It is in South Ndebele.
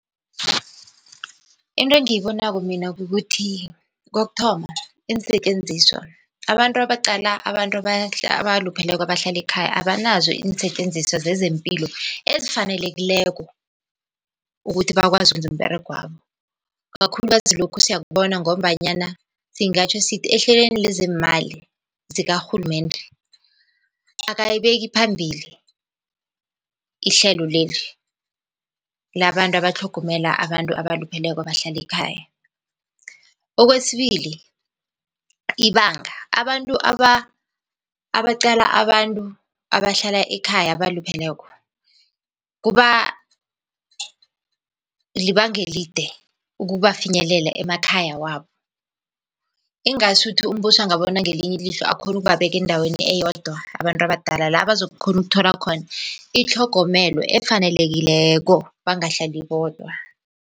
Into engiyibonako mina kukuthi, kokuthoma, iinsetjenziswa abantu abaqala abantu abalupheleko abahlala ekhaya abanazo iinsetjenziswa zezempilo ezifanelekileko ukuthi bakwazi ukwenza umberegwabo. Ikakhulukazi lokhu siyakubona, ngombanyana singatjho sithi ehlelweni lezeemali zikarhulumende akayibeki phambili, ihlelo leli labantu abatlhogomela abantu abalupheleko abahlala ekhaya. Okwesibili, ibanga abantu abaqala abantu abahlala ekhaya abalupheleko, kuba libanga elide ukubafinyelela emakhaya wabo. Ingasuthi umbuso angabona ngelinye ilihlo akhone ukubabeka endaweni eyodwa abantu abadala la bazokukhona ukuthola khona itlhogomelo efanelekileko bangahlali bodwa.